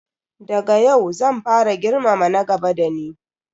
Daga yau zan fara girmama na gaba da ni.